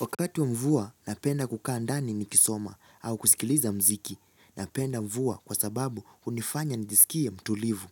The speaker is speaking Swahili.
Wakati wa mvua napenda kukaa ndani nikisoma au kusikiliza muziki. Napenda mvua kwa sababu hunifanya nijisikie mtulivu.